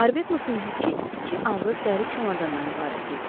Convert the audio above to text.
Arbetnotun yükü iki ağır dəri çamadanndan ibarət idi.